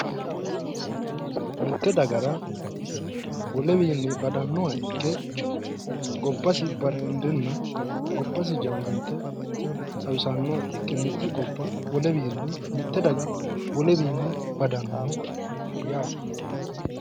Sumudaho Yaa mitte dagara wolewiinni badannoha ikke gobbasi barendenna gobbasi jawaante xawisannoha ikke mitte gobba mitte daga woleewiinni badannoho yaate.